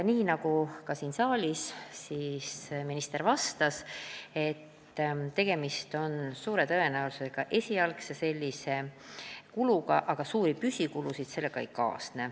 Nii nagu ka siin saalis, vastas minister, et tegemist on suure tõenäosusega esialgse kuluga, aga suuri püsikulusid sellega ei kaasne.